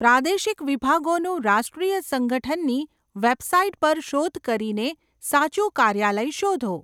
પ્રાદેશિક વિભાગોનું રાષ્ટ્રીય સંગઠનની વેબસાઇટ પર શોધ કરીને સાચું કાર્યાલય શોધો.